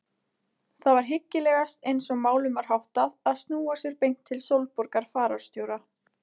Það var hyggilegast eins og málum var háttað að snúa sér beint til Sólborgar fararstjóra.